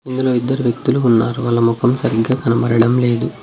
ఇందులో ఇద్దరు వ్యక్తులు ఉన్నారు వాళ్ళ ముఖం సరిగ్గా కనబడడం లేదు.